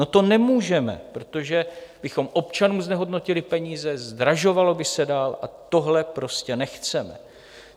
No, to nemůžeme, protože bychom občanům znehodnotili peníze, zdražovalo by se dál, a tohle prostě nechceme.